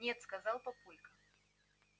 нет сказал папулька